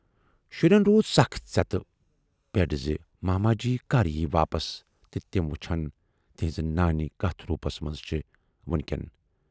شُرٮ۪ن روٗز سخ ژٮ۪تہِ پیٖڈ زِ ماماجی کر یِیہِ واپس تہٕ تِم وُچھِہن تِہٕنز نانۍ کتھ روٗپس منز چھِ وُنۍکٮ۪ن۔